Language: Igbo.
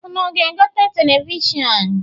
Unu ga-egote televishọnụ?